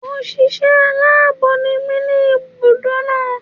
Òṣìṣẹ́ aláàbọ̀ ni mí ní ibùdó náà.